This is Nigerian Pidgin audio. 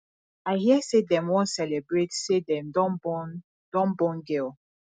i hear say dem wan celebrate say dem don born don born girl